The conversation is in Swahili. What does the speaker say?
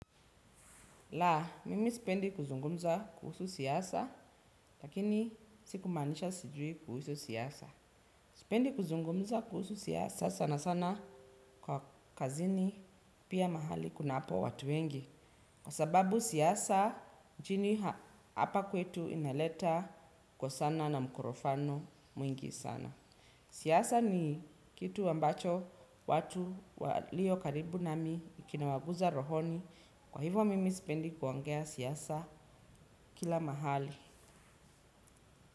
La, mimi sipendi kuzungumza kuhusu siasa, lakini sikumaanisha sijui kuhusu siasa. Sipendi kuzungumza kuhusu siasa sana sana kwa kazini, pia mahali kunapo watu wengi. Kwa sababu siasa, nchini hapa kwetu inaleta kwa sana na mkorofano mwingi sana. Siasa ni kitu ambacho watu waliokaribu nami kinawagusa rohoni. Kwahivyo mimi spendi kuongea siasa kila mahali.